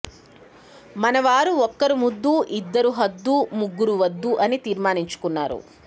మనవారు ఒక్కరు ముద్దు ఇద్దరు హద్దు ముగ్గురు వద్దు అని తీర్మానించుకున్నారు